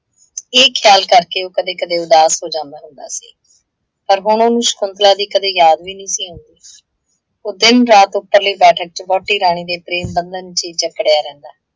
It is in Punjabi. ਇਹ ਖਿਆਲ ਕਰਕੇ ਉਹ ਕਦੇ ਕਦੇ ਉਦਾਸ ਹੋ ਜਾਂਦਾ ਹੁੰਦਾ ਸੀ। ਪਰ ਹੁਣ ਉਹਨੂੰ ਸ਼ਕੁੰਤਲਾ ਦੀ ਕਦੇ ਯਾਦ ਵੀ ਨਹੀਂ ਸੀ ਆਉੰਦੀ। ਉਹ ਦਿਨ ਰਾਤ ਉੱਪਰਲੇ ਬੈਠਕ ਚ ਵਹੁਟੀ ਰਾਣੀ ਦੇ ਪ੍ਰੇਮ ਬੰਧਨ ਚ ਹੀ ਜੱਕੜਿਆ ਰਹਿੰਦਾ।